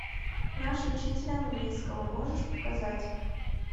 наш учитель английского можешь показать